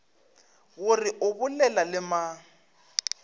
gore o bolela le mang